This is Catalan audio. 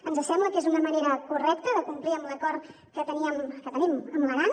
ens sembla que és una manera correcta de complir amb l’acord que teníem que tenim amb l’aran